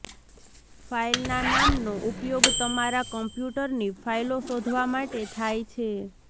ફાઇલના નામનો ઉપયોગ તમારા કમ્પ્યુટરની ફાઇલો શોધવા માટે થાય છે